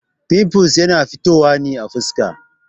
Fimfuls na fitowa ne a fuska.